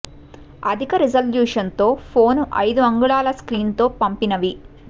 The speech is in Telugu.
అధిక రిజల్యూషన్ తో ఫోన్ అయిదు అంగుళాల స్క్రీన్ తో పంపినవి